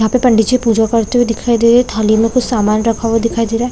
यहाँ पे पंडित जी पूजा करते हुए दिखाई दे रहे है थाली मे कुछ सामान रखा हुआ दिखाई दे रहा है।